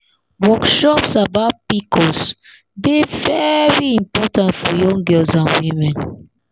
workshops about pcos dey very important for young girls and women.